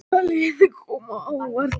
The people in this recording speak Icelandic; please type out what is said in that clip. Hvaða lið koma á óvart?